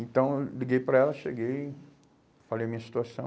Então eu liguei para ela, cheguei, falei a minha situação.